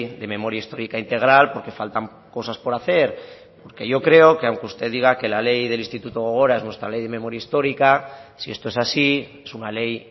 de memoria histórica integral porque faltan cosas por hacer porque yo creo que aunque usted diga que la ley del instituto gogora es nuestra ley de memoria histórica si esto es así es una ley